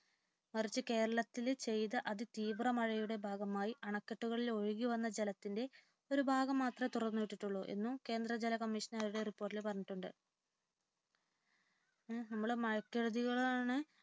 മറിച്ചു കേരളത്തിൽ പെയ്ത അതിതീവ്ര മഴയുടെ ഭാഗമായി അണക്കെട്ടുകളിൽ ഒഴുകിവന്ന ജലത്തിന്റെ ഒരു ഭാഗം മാത്രമേ തുറന്നു വിട്ടിട്ടുള്ളു എന്ന് കേന്ദ്ര ജല കമ്മീഷൻ റിപ്പോർട്ടിൽ പറഞ്ഞിട്ടുണ്ട് നമ്മൾ മഴക്കെടുതികളെ